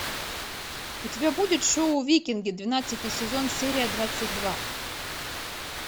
у тебя будет шоу викинги двенадцатый сезон серия двадцать два